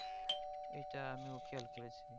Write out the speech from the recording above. এইটা আমিও খেয়াল করেছি